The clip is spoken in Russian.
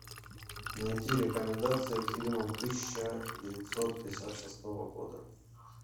найти рекомендации к фильмам тысяча девятьсот пятьдесят шестого года